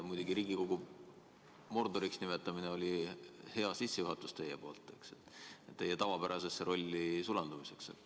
Muidugi, Riigikogu Mordoriks nimetamine oli hea sissejuhatus teie tavapärasesse rolli sulandumiseks.